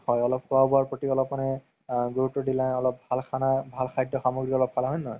হয় অলপ খুৱা বুৱাৰ প্ৰতি মানে আ গুৰুত্ব দিলা অলপ ভাল খানা ভাল খাদ্য সামগ্ৰি অলপ খালা হয় নে নহয়